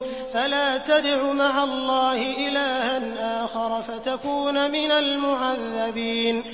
فَلَا تَدْعُ مَعَ اللَّهِ إِلَٰهًا آخَرَ فَتَكُونَ مِنَ الْمُعَذَّبِينَ